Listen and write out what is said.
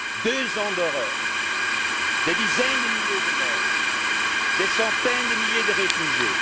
la Syrie. Deux ans d'horreur, des dizaines de milliers de morts, des centaines de milliers de